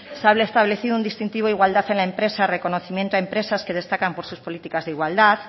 se ha establecido un distintivo de igualdad en la empresa reconocimiento a empresas que destacan por sus políticas de igualdad